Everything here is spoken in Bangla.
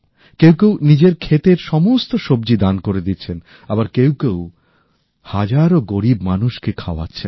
কেউ কেউ নিজের ক্ষেতের সমস্ত সব্জি দান করে দিচ্ছেন আবার কেউ কেউ হাজারো গরীব মানুষকে খাওয়াচ্ছেন